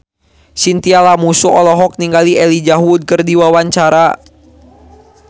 Chintya Lamusu olohok ningali Elijah Wood keur diwawancara